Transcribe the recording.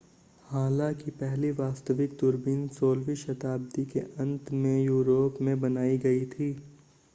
हालांकि पहली वास्तविक दूरबीन 16वीं शताब्दी के अंत में यूरोप में बनाई गई थी